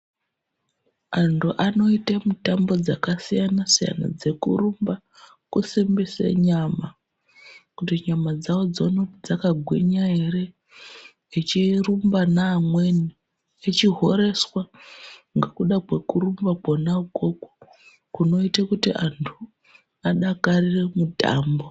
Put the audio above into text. Antu anoite mitombo dzakasiyana siyana dzekumba kusimbisa nyama kuti nyama dzawo dzione kuti dzakagwinya ere dzichirumba ngeamweni ,dzichihoreswa ngekuda kwekurumba Kona ukoko kunoita kuti antu adakarire mutambo.